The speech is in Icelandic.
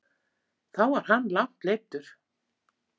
Þá var hann langt leiddur.